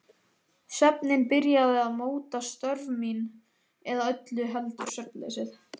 Svefninn byrjaði að móta störf mín- eða öllu heldur svefnleysið.